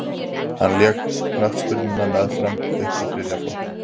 hann lék knattspyrnu með fram upp í þriðja flokk